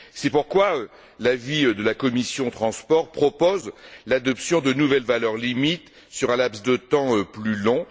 C'est pourquoi l'avis de la commission des transports propose l'adoption de nouvelles valeurs limites sur un laps de temps plus long.